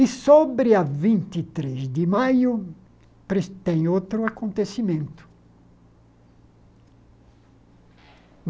E sobre a vinte e três de maio, pres tem outro acontecimento.